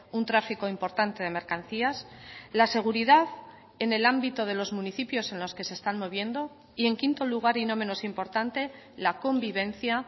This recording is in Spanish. un tráfico importante de mercancías la seguridad en el ámbito de los municipios en los que se están moviendo y en quinto lugar y no menos importante la convivencia